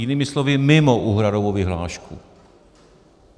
Jinými slovy mimo úhradovou vyhlášku.